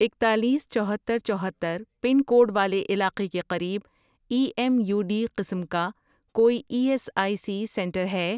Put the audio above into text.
اکتالیس، چوہتر، چوہتر، پن کوڈ والے علاقے کے قریب ایم ای یو ڈی قسم کا کوئی E S I C centre ہے؟